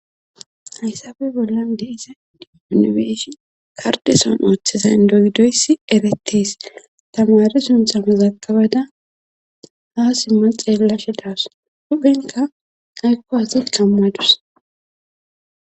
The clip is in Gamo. Hayssape bolla deisa dimonobeeshi kardeson ooththeza n doydoyssi erettes tamare suntha mezakabada ha simmal xeellashe daas huphenka aykko hasi qammadus